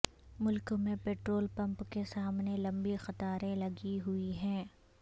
ملک میں پیٹرول پمپوں کے سامنے لمبی قطاریں لگی ہوئی ہیں